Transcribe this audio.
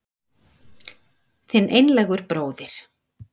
Þinn einlægur bróðir